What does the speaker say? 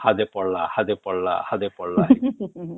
ହାଦେ ପଡିଲା ହାଦେ ପଡିଲା ହାଦେ ପଡିଲା